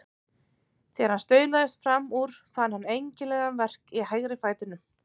Þegar hann staulaðist fram úr fann hann einkennilegan verk í hægri fætinum.